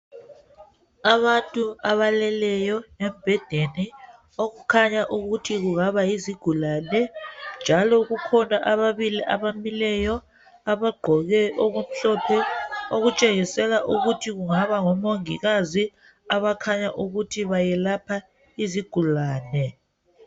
Abantu abaleleyo embhedeni okukhanya ukuthi kungaba yizigulane . Njalo kukhona ababili abamileyo abagqoke okumhlophe okutshengisela ukuthi kungaba ngomongikazi abakhanya ukuthi bayelapha izigulane ..